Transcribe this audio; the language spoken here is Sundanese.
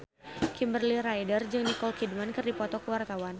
Kimberly Ryder jeung Nicole Kidman keur dipoto ku wartawan